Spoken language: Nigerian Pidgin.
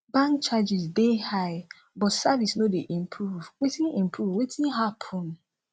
bank charges dey high but service no dey improve wetin improve wetin happen